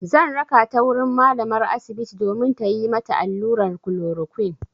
Zan raka ta wurin malamar asibiti domin tayi mata allurar klorokwin.